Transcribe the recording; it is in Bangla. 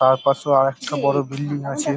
তারপাশেও আর একটা বড় বিল্ডিং আছে ।